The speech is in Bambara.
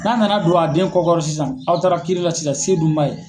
N'a nana don a den kɔ kɔrɔ sisan , aw taara kiiri la sisan se dun b'a ye.